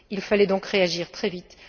Il fallait donc réagir très vite.